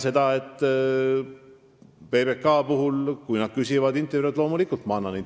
Kui PBK küsib mult intervjuud, siis loomulikult ma selle annan.